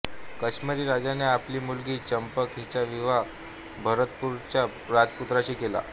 काश्मिरी राजाने आपली मुलगी चंपक हिचा विवाह भक्तपूरच्या राजपुत्राशी केला